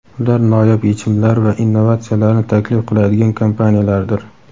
ular noyob yechimlar va innovatsiyalarni taklif qiladigan kompaniyalardir.